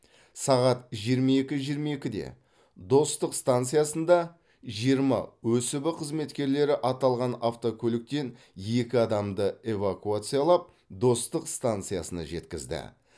сағат жиырма екі жиырма екіде достық станциясында жиырма өсб қызметкерлері аталған автокөліктен екі адамды эвакуациялап достық станциясына жеткізді